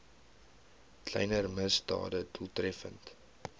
kleiner misdade doeltreffend